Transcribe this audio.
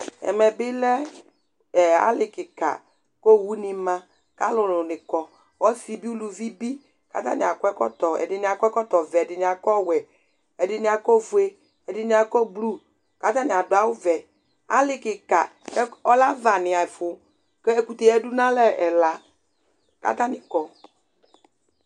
ɛmɛbilɛ ali kikɑ ku õwωɲimɑ ɑluluɲikɔ ɔsibi ωluvibi ɛɖiɲiɑkɔ ɛkõtovẽ ɛdiɲi ɑkɔ ɔwẽ ɛɗiɲniɑkɔ õfωɛ ɛɗiɲiɑkɔ blu kɑtɑɲiɑɖω ɑwωvẽ ɑlikikɑ ɔlɛ ɑvɑɲiɛfω kɛkωté yɛɗʊ ɲaɑlé ɛlɑ kɑtɑɲikɔ